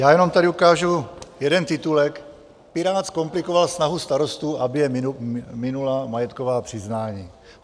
Já jenom tady ukážu jeden titulek: Pirát zkomplikoval snahu starostů, aby je minula majetková přiznání.